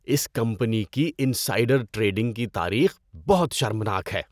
اس company کی insider trading کی تاریخ بہت شرمناک ہے۔